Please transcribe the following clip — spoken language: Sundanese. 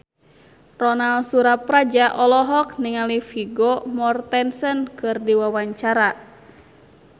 Ronal Surapradja olohok ningali Vigo Mortensen keur diwawancara